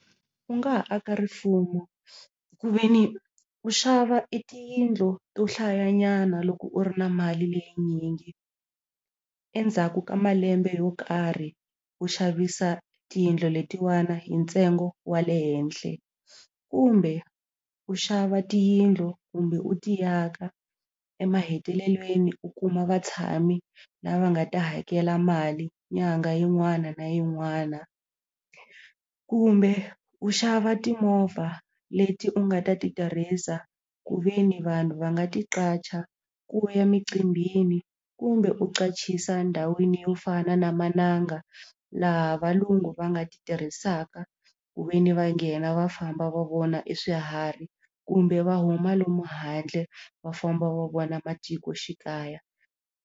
U nga ha aka rifumo ku ve ni u xava tiyindlu to hlaya nyana loko u ri na mali leyinyingi endzhaku ka malembe yo karhi ku xavisa tiyindlu letiwani hi ntsengo wa le henhle kumbe u xava tiyindlu kumbe u ti aka emahetelelweni u kuma vatshami la va nga ta hakela mali nyanga yin'wana na yin'wana kumbe u xava timovha leti u nga ta ti tirhisa ku ve ni vanhu va nga ti qacha ku ya micimbini kumbe u qachisa ndhawini yo fana na mananga laha valungu va nga ti tirhisaka ku ve ni va nghena va famba va vona e swiharhi kumbe va huma lomu handle va famba va vona matikoxikaya.